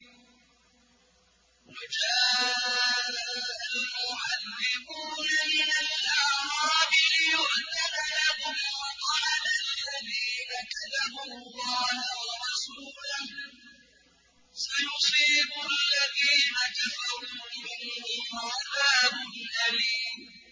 وَجَاءَ الْمُعَذِّرُونَ مِنَ الْأَعْرَابِ لِيُؤْذَنَ لَهُمْ وَقَعَدَ الَّذِينَ كَذَبُوا اللَّهَ وَرَسُولَهُ ۚ سَيُصِيبُ الَّذِينَ كَفَرُوا مِنْهُمْ عَذَابٌ أَلِيمٌ